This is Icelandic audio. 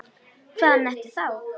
Hvaðan ertu þá?